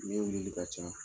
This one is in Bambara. Ne wilili ka ca